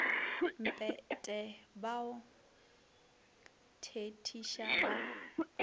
mpete ba o thethiša ba